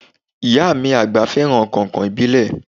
Ìyá mí agba fẹràn kàìnkàìn ìbílẹ̀.